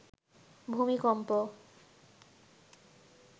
ভূমিকম্প